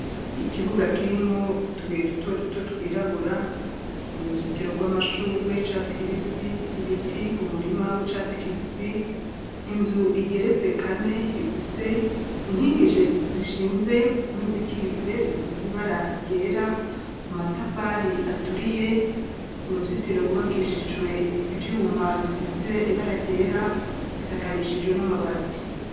Ikibuga kirimwo utubuye duto duto twirabura uruzitiro rw'amashugwe rw'icatsi kibisi ibiti, umurima w'icatsi kibisi ,inzu igeretse kane ifise inkingije zishinze nizikitse zisize ibara ryera amatafari aturiye uruzitiro rw'ubakishijwe ivyuma bisize ibara ryera isakarishijwe n'amabati.